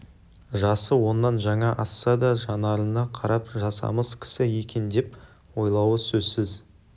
жасы оннан жаңа асса да жанарына қарап жасамыс кісі екен деп ойлауы сөзсіз